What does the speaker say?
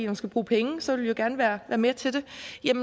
man skal bruge penge og så vil vi jo gerne være med til det